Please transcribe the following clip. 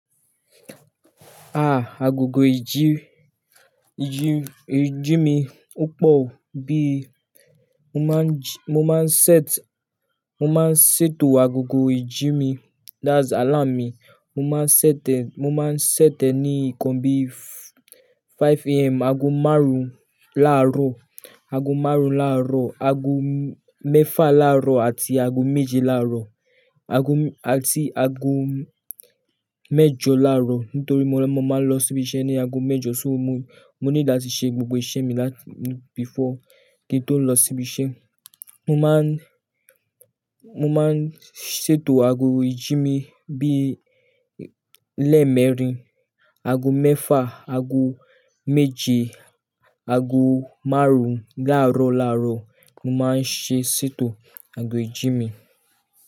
Ah, agogo ìjí-ìjí-ìjí mi o pọ̀ o bí i, mo má n jí-- mo má n set, mo má n ṣètò agogo ìjí mi that's alarm mi. Mo má n set e, mo má n set e ní nǹkan bí i five AM, ago márùn-ún láàárọ̀, ago márùn-ún láàárọ̀, ago mẹ́fà láàárọ̀ àti ago méje láàárọ̀. Ago àti ago mẹ́jọ láàárọ̀ nítorí mo máa ń lọ síbi iṣẹ́ ní ago mẹ́jọ. So mo, mo need làtí ṣe gbogbo iṣẹ́ mi láti before kí n tó lọ sí ibi iṣẹ́. Mo má a ń, mo má a ń ṣètò ago ìjí mi bí i leemẹ́rin, ago mẹ́fà, ago méje, ago márùn-ún láàárọ̀ láàárọ̀ mo má a ń ṣe ṣètò ago ìjí mi.